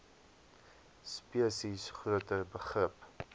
spesies groter begrip